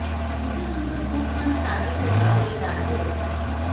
जिसे सुनकर खूबचंद शादी करने के लिए राजी हो गए